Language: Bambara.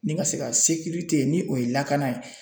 Ni n ka se ka ni o ye lakana ye.